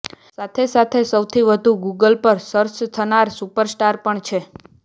સાથે સાથે સૌથી વધુ ગૂગલ પર સર્ચ થનાર સુપરસ્ટાર પણ છે